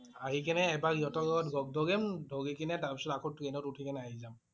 আহি কেনে এবাৰ ইহঁতক লগত লগ ধৰিম। ধৰি কেনে তাৰ পিছত আকৌ ট্ৰেইন ত উঠি কেনে আহি যাম